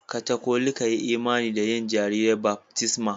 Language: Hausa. Katolika yi imani da yin ma jarirai baftisma.